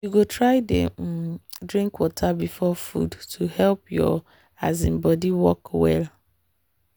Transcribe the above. you go try dey um drink water before food to help your um body work well.